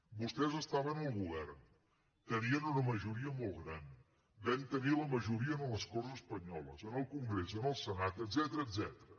vostès estaven al govern tenien una majoria molt gran vam tenir la majoria en les corts espanyoles en el congrés en el senat etcètera